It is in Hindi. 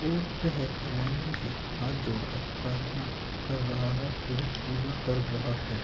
और वह भगवान जी से हाथ जोड़कर प्रार्थना कर रहा है वह पूजा कर रहा है।